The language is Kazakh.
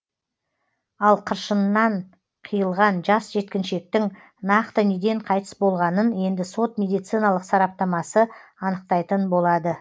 ал қыршынынан қиылған жас жеткіншектің нақты неден қайтыс болғанын енді сот медициналық сараптамасы анықтайтын болады